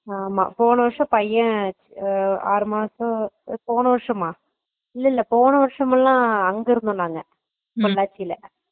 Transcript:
ஆமா போன வருசம் பையென் அஹ ஆறு மாசம், போன வருஷமா ? இல்ல இல்ல போன வருஷமெல்ல நாங்க அங்க இருந்தோ பொள்ளாச்சில